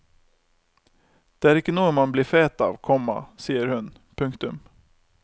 Det er ikke noe man blir fet av, komma sier hun. punktum